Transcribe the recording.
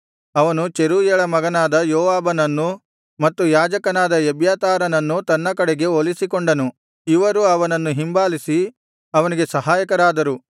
ಅವನು ಚೆರೂಯಳ ಮಗನಾದ ಯೋವಾಬನನ್ನು ಮತ್ತು ಯಾಜಕನಾದ ಎಬ್ಯಾತಾರನನ್ನೂ ತನ್ನ ಕಡೆಗೆ ಒಲಿಸಿಕೊಂಡನು ಇವರು ಅವನನ್ನು ಹಿಂಬಾಲಿಸಿ ಅವನಿಗೆ ಸಹಾಯಕರಾದರು